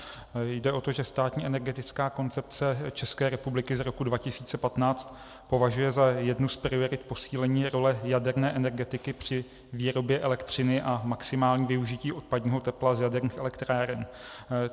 Jde o to, že Státní energetická koncepce České republiky z roku 2015 považuje za jednu z priorit posílení role jaderné energetiky při výrobě elektřiny a maximální využití odpadního tepla z jaderných elektráren.